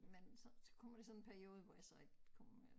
Men så så kommer der sådan en periode hvor jeg så ikke kommer med